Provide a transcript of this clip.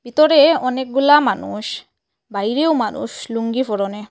ভিতরে অনেকগুলা মানুষ বাইরেও মানুষ লুঙ্গি ফরনে ।